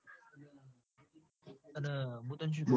અન મું તન શું?